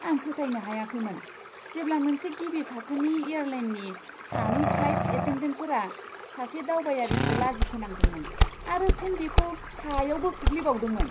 आं फोथायनो हायाखैमोन जेब्ला मोनसे गिबि थाखोनि एयारलाइननि सानै फ्लाइट एटेन्डेन्टफोरा सासे दावबायारिखौ लाजिफोनांदोंमोन आरो फिन बिखौ हायावबो खोख्लैबावदोंमोन!